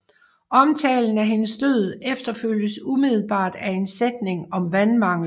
Omtalen af hendes død efterfølges umiddelbart af en sætning om vandmanglen